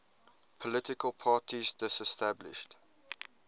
political parties disestablished